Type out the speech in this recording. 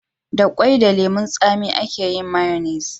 Da kwai da lemun tsami a ke yin mayonis